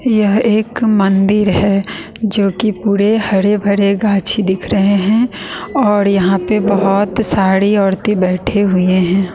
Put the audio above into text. यह एक मंदिर है जोकि पूरे हरे भरे गाछी दिख रहे हैं और यहां पे बहोत साड़ी औरतें बैठे हुए हैं।